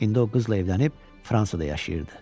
İndi o qızla evlənib Fransada yaşayırdı.